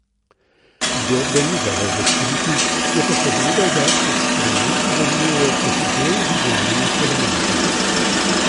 Zgodbe ni želel razkriti, je pa povedal, da eksperimenti delujejo kot del vizualnih elementov.